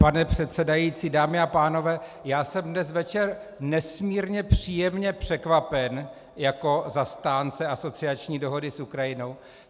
Pane předsedající, dámy a pánové, já jsem dnes večer nesmírně příjemně překvapen jako zastánce asociační dohody s Ukrajinou.